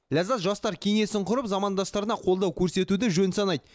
ләззат жастар кеңесін құрып замандастарына қолдау көрсетуді жөн санайды